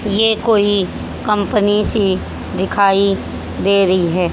ये कोई कंपनी सी दिखाई दे रही है।